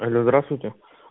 алло здравствуйте